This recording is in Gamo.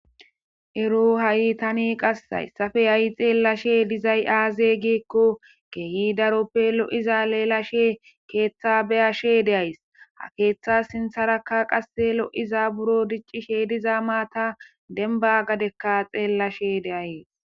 ero ha7i tani qassayssafe hay xeellashe dizay aaze giikko keeyi daroppe lo7iza leelashe keeththa beyashe de7ays ha keeththa sintharakka qase lo7iza buro diccishe diza maata denba gadekka xeellashe deayees